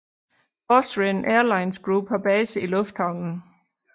Austrian Airlines Group har base i lufthavnen